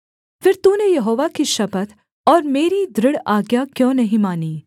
फिर तूने यहोवा की शपथ और मेरी दृढ़ आज्ञा क्यों नहीं मानी